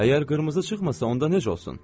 Əgər qırmızı çıxmasa, onda necə olsun?